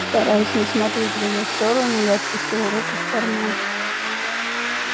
стараясь не смотреть в её сторону я опустил руку в карман